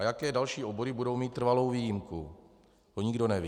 A jaké další obory budou mít trvalou výjimku, to nikdo neví.